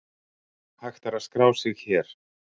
Hægt er að skrá sig hér